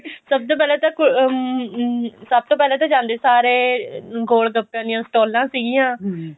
ਸਭ ਤੋਂ ਪਹਿਲਾਂ ਤਾਂ ਅਮ ਸਭ ਤੋਂ ਪਹਿਲਾਂ ਤਾਂ ਜਾਂਦੇ ਸਾਰ ਗੋਲ ਗੱਪੇ ਦੀਆਂ ਸਟੋਲਾਂ ਸੀਗੀਆ